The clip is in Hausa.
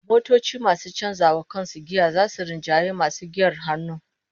Motoci masu canza wa kansu giya zasu rinjayi masu giyar hannu